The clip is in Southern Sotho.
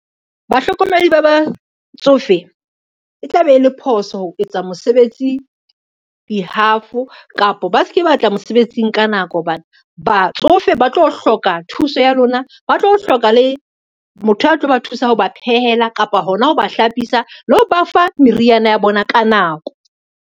Bahlokomedi ba batsofe, e tla be e le phoso ho etsa mosebetsi di-half kapa ba ske ba tla mosebetsing ka nako hobane ba batsofe ba tlo hloka thuso ya lona, ba tlo hloka le motho a tlo ba thusa ho ba phehela, kapa hona ho ba hlapisa le ho ba fa meriana ya bona ka nako.